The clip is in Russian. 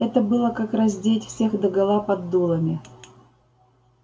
это было как раздеть всех догола под дулами